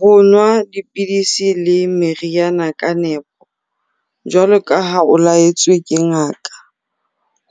Ho nwa dipidisi le meriana ka nepo, jwaloka ha o la-etswe ke ngaka.